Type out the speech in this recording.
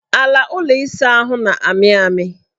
Ala ụlọ ịsaahụ ahụ na-amị amị